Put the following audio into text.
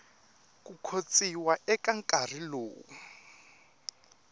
ku khotsiwa eka nkarhi lowu